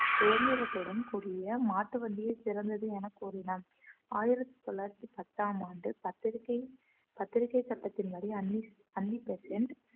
சுதந்திரத்துடன் கூடிய மாட்டு வண்டியே சிறந்தது என கூறினான் ஆயிரத்தி தொள்ளாயிரத்தி பத்தாம் ஆண்டு பத்திரிகை பத்திரிகை சட்டத்தின்படி அன்னி அன்னி பெசன்ட்